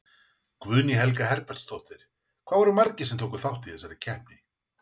Guðný Helga Herbertsdóttir: Hvað voru margir sem að tóku þátt í þessari keppni?